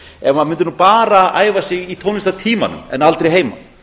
ef maður mundi nú bara æfa sig í tónlistartímanum en aldrei heima